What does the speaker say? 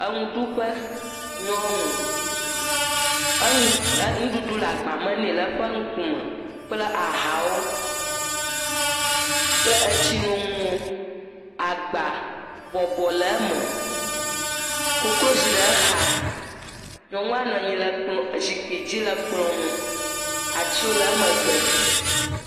Nuɖuƒe, nyɔnu, nuɖuɖu le agba me nɛ le eƒe ŋkume kple ahawo kple tsinoŋuwo, agba, bɔbɔ le eme. Koklozi le exa. Nyɔnua nɔ anyi ɖe zikpui dzi le kplɔ̃ ŋu. Atiwo le emegbe.